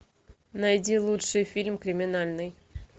найди лучший фильм криминальный